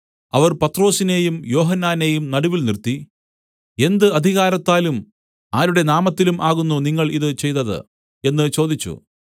അവർ പത്രൊസിനെയും യോഹന്നാനെയും നടുവിൽ നിർത്തി എന്ത് അധികാരത്താലും ആരുടെ നാമത്തിലും ആകുന്നു നിങ്ങൾ ഇത് ചെയ്തത് എന്ന് ചോദിച്ചു